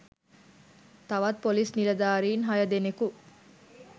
තවත් ‍පොලිස් නිලධාරීන් හය දෙනෙකු